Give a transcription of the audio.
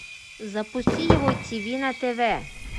запусти его тв на тв